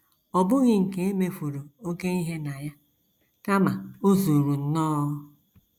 Ọ bụghị nke e mefuru oké ihe na ya, kama o zuru nnọọ. ”